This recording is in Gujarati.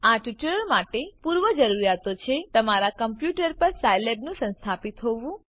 આ ટ્યુટોરીયલ માટે પૂર્વજરૂરીયાતો છે તમારા કમ્પ્યુટર પર સાયલેબનું સંસ્થાપિત હોવું